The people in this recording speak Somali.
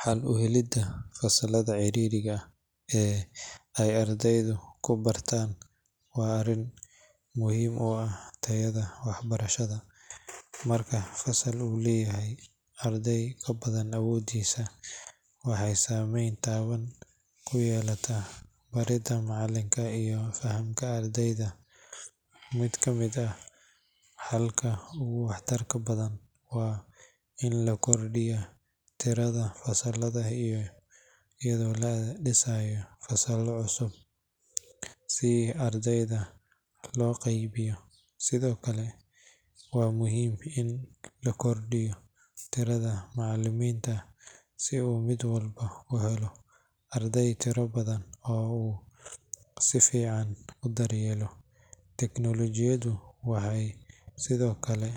Xal u helidda fasallada ciriiriga ah ee ay ardaydu ku bataan waa arrin muhiim u ah tayada waxbarashada. Marka fasal uu leeyahay arday ka badan awooddiisa, waxay saamayn taban ku yeelataa baridda macallinka iyo fahamka ardayda. Mid ka mid ah xalka ugu waxtarka badan waa in la kordhiyo tirada fasallada iyadoo la dhisayo fasallo cusub si ardayda loo qaybiyo. Sidoo kale, waa muhiim in la kordhiyo tirada macallimiinta si uu mid walba u helo arday tiro kooban oo uu si fiican u daryeelo. Teknolojiyaddu waxay sidoo kale